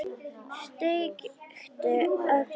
Steikti egg á pönnu.